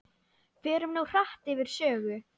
Förum nú hratt yfir sögu.